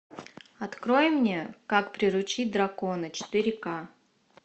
открой мне как приручить дракона четыре к